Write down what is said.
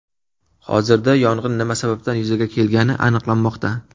Hozirda yong‘in nima sababdan yuzaga kelgani aniqlanmoqda.